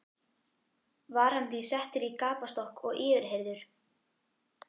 Var hann því settur í gapastokk og yfirheyrður.